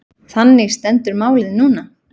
Þannig stendur málið núna.